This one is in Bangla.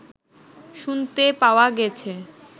শুনতে পাওয়া গেছে